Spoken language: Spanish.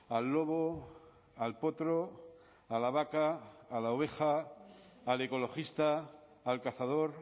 al lobo al potro a la vaca a la oveja al ecologista al cazador